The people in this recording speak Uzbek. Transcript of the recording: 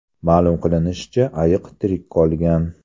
Ma’lum qilinishicha, ayiq tirik qolgan.